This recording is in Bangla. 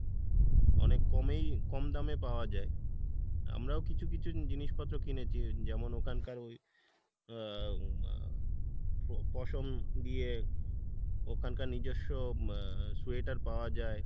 অনেক কমেই কম দামে পাওয়া যাই, আমরাও কিছু কিছু জিনিস পত্র কিনেছি যেমন ওখানকার আহ পশম দিয়ে ওখানকার নিজস্ব আহ sweater পাওয়া যাই,